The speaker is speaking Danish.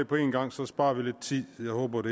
på en gang så sparer vi lidt tid jeg håber at